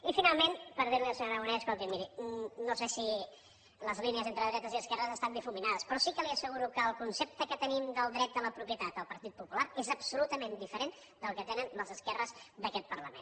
i finalment per dir li al senyor aragonès escolti miri no sé si les línies entre dretes i esquerres estan difuminades però sí que li asseguro que el concepte que tenim del dret a la propietat el partit popular és absolutament diferent del que tenen les esquerres d’aquest parlament